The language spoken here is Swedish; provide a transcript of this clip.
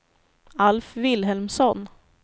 Alf Vilhelmsson